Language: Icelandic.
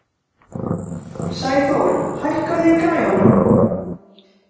Sæþór, hækkaðu í græjunum.